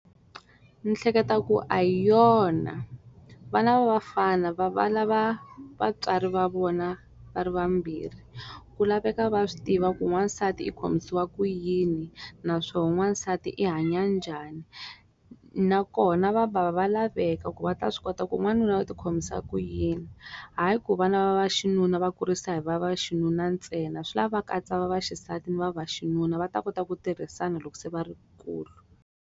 Ndzi hleketa ku a yona. Vana va vafana va lava vatswari va vona va ri vambirhi. Ku laveka va swi tiva ku n'wansati i khomisiwa ku yini naswona n'wansati i hanya njhani. Na kona vabava va laveka ku va ta swi kota ku n'wanuna u ti khomisa ku yini. Hayi ku vana va vaxinuna va kurisa hi va vaxinuna ntsena, swi lava va katsa va vaxisati ni va vaxinuna va ta kota ku tirhisana loko se va ri va kulu.